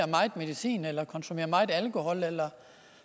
meget medicin eller konsumerer meget alkohol eller